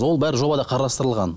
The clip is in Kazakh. ол бәрі жобада қарастырылған